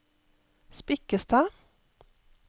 Spikkestad